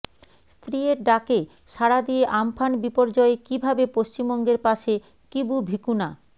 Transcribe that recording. স্ত্রীয়ের ডাকে সারা দিয়ে আম্ফান বিপর্যয়ে কীভাবে পশ্চিমবঙ্গের পাশে কিবু ভিকুনা